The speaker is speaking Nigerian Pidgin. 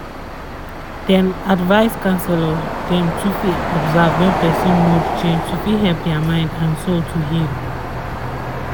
dem advice counselors dem too fit observe wen person mood change to fit help dia mind and soul to heal